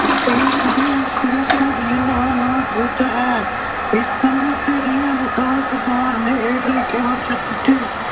Irwin ਸਮਝੌਤੇ ਦੇ ਨਾਂ ਨਾਲ ਪ੍ਰਸਿੱਧ ਹੈ। ਇਸ ਸਮਝੌਤੇ ਦੇ ਅਨੁਸਾਰ ਸਰਕਾਰ ਨੇ ਹੇਠ ਲਿਖੇ ਵਚਨ ਦਿੱਤੇ